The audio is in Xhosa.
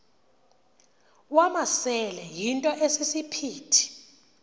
wamasele yinto esisiphithi